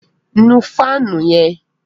Nù fáànù yẹn!